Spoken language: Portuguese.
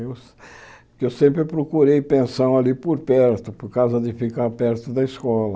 Eu que sempre procurei pensão ali por perto, por causa de ficar perto da escola.